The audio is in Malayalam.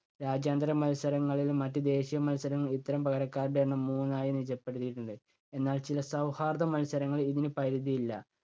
രാജ്യാന്തര മത്സരങ്ങളിലും മറ്റ് ദേശീയ മത്സരങ്ങളിലും ഇത്തരം പകരക്കാരുടെ എണ്ണം മൂന്നായി നിജപ്പെടുത്തിയിട്ടുണ്ട്. എന്നാൽ ചില സൗഹാർദ്ദ മത്സരങ്ങളിൽ ഇതിന് പരിധിയില്ല.